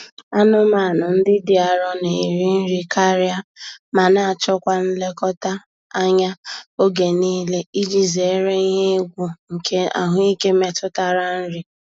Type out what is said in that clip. Anụmanụ ndị dị arọ na-eri nri karịa ma na-achọ kwa nlekọta anya oge niile iji zere ihe egwu nke ahụike metụtara nri.